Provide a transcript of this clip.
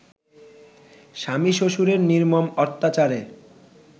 স্বামী-শ্বশুরের নির্মম অত্যাচারে